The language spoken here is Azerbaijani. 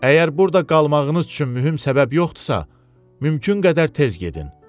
Əgər burda qalmağınız üçün mühüm səbəb yoxdursa, mümkün qədər tez gedin.